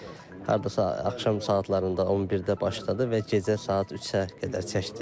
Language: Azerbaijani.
Proses hardasa axşam saatlarında 11-də başladı və gecə saat 3-ə qədər çəkdi.